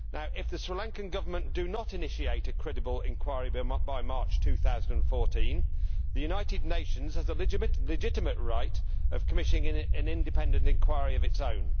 If the Sri Lankan Government does not initiate a credible inquiry by March 2014, the United Nations has a legitimate right to commission an independent inquiry of its own.